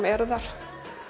eru þar